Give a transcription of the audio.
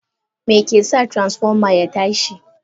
Meke sa Transfoma ya tashi.?